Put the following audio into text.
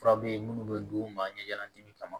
Fura be yen munnu be d'u ma ye jalati kama